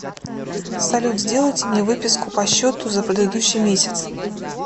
салют сделайте мне выписку по счету за предыдущий месяц